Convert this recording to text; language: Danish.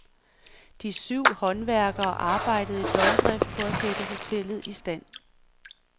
De syv håndværkere arbejdede i døgndrift på at sætte hotellet i stand.